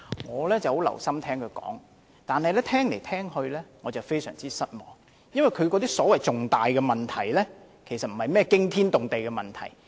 我十分留心聆聽她的發言，但越聽越失望，因為她說的所謂重大問題，並不是甚麼驚天動地的問題。